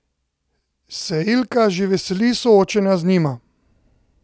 Se Ilka že veseli soočenja z njima?